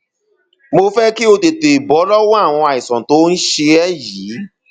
mo fẹ kí o o tètè bọ lọwọ àìsàn tó ń ṣe ẹ yìí